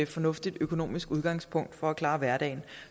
fornuftigt økonomisk udgangspunkt for at klare hverdagen